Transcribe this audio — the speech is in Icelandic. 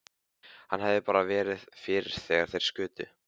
Hann hefði bara verið fyrir þegar þeir skutu.